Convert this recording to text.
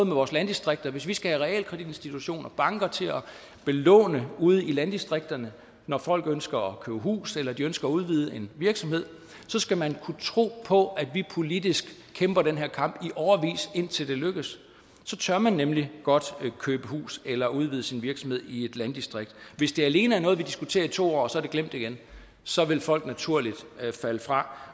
vores landdistrikter hvis vi skal have realkreditinstitutter og banker til at yde lån ude i landdistrikterne når folk ønsker at købe hus eller de ønsker at udvide en virksomhed så skal man kunne tro på at vi politisk kæmper den her kamp i årevis indtil det lykkes så tør man nemlig godt købe hus eller udvide sin virksomhed i et landdistrikt hvis det alene er noget vi diskuterer i to år og så glemmer igen så vil folk naturligt falde fra